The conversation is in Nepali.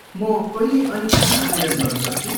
म कहिले अनि कहाँ आवेदन गर्न सक्छु?